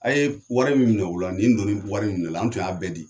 A ye wari min minɛ u la , nin donni wari minminɛ u la , an tun y'a bɛɛ di.